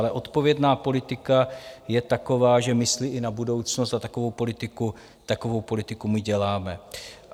Ale odpovědná politika je taková, že myslí i na budoucnost, a takovou politiku my děláme.